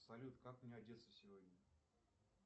салют как мне одеться сегодня